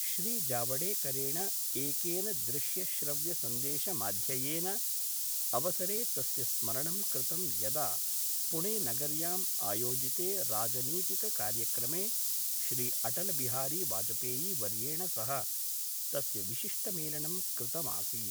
श्रीजावडेकरेण एकेन दृश्यश्रव्यसंदेशमाध्ययेन अवसरे तस्य स्मरणं कृतं यदा पुणे नगर्य्याम् आयोजिते राजनीतिककार्यक्रमे श्रीअटलबिहारी वाजपेयीवर्येण सह तस्य विशिष्टमेलनं कृतमासीत्।